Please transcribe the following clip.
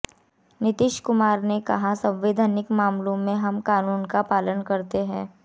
नीतीश कुमार ने कहा कि संवैधानिक मामले में हम क़ानून का पालन करते हैं